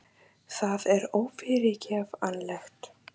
Það er ófyrirgefanlegt